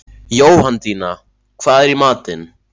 Jóhanndína, hvað er í matinn?